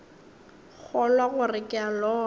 kgolwa gore ke a lora